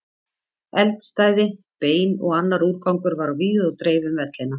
Eldstæði, bein og annar úrgangur var á víð og dreif um vellina.